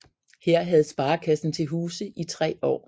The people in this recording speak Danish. Her havde sparekassen til huse i tre år